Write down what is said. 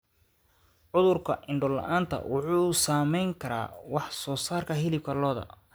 Cudurka indho la'aanta wuxuu saameyn karaa wax soo saarka hilibka lo'da.